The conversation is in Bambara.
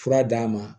Fura d'a ma